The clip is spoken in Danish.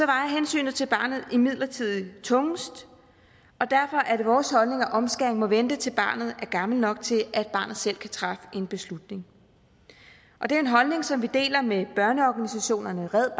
vejer hensynet til barnet imidlertid tungest derfor er det vores holdning at omskæring må vente til barnet er gammelt nok til at barnet selv kan træffe en beslutning og det er en holdning som vi deler med børneorganisationerne red